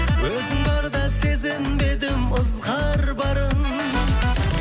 өзің барда сезінбедім ызғар барын